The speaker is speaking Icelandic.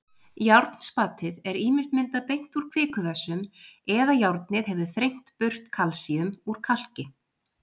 Járnspatið er ýmist myndað beint úr kvikuvessum eða járnið hefur þrengt burt kalsíum úr kalki.